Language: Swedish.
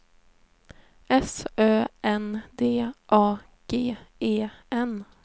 S Ö N D A G E N